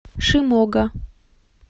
шимога